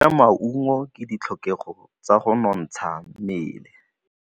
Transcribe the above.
Go ja maungo ke ditlhokegô tsa go nontsha mmele.